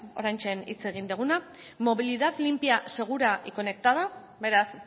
oraintxe hitz egin duguna movilidad limpia segura y conectada beraz